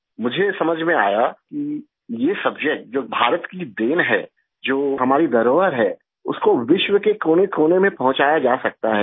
मुझे समझ में आया कि ये सब्जेक्ट जो भारत की देन है जो हमारी धरोहर है उसको विश्व के कोनेकोने में पहुँचाया जा सकता है